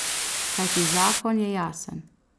Kajti zakon je jasen.